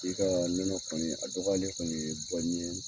I ka nɔnɔ kɔni a dɔgɔyalen kɔni ye ɲɛ